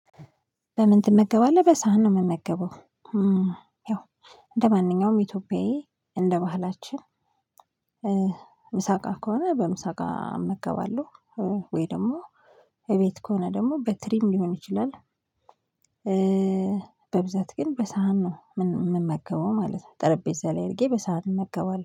በምን ትመገባለህ? በሳህን ነው የምመገበው። ያው እንደማንኛውም ኢትዮጵያዊ እንደባህላችን ምሳቃ ከሆነ በምሳቃ እመገባለሁ፤ ወይ ደግሞ ከሆነ ደግሞ በትሪም ሊሆን ይችላል። በብዛት ግን በሳህን ነው ምን ምመገበው ማለት ነው። ጠረጴዛ ላይ እርጌ በሳህን እንመገባለው።